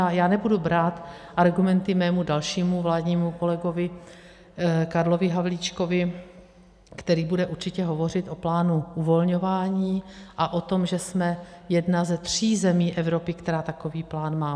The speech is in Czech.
A já nebudu brát argumenty svému dalšímu vládnímu kolegovi Karlovi Havlíčkovi, který bude určitě hovořit o plánu uvolňování a o tom, že jsme jedna ze tří zemí Evropy, která takový plán má.